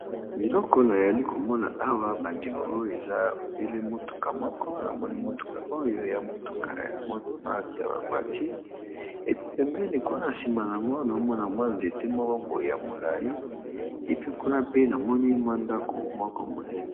Liloko nayali komona awa bandeko oyo eza ebele motuka moko namoni motuka oyo ya motuka ya marke ya bavoitire epipemeni kuna nsima nango na omona mwa nzete mwa baboye ya molai epi kuna pe namoni mwa ndako moko monene.